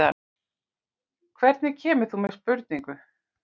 Hvernig kemur þú með spurningu?